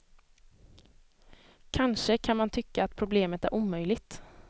Kanske kan man tycka att problemet är omöjligt.